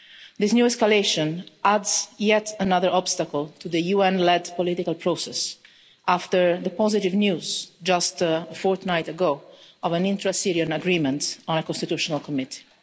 This new escalation adds yet another obstacle to the UN-led political process, after the positive news just a fortnight ago of an intra-Syrian agreement on constitutional committee.